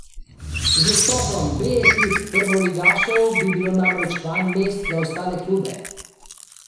Z vstopom B ekip prvoligašev bi bilo namreč manj mest za ostale klube.